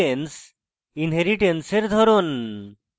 inheritance inheritance এর ধরন